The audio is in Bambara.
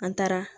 An taara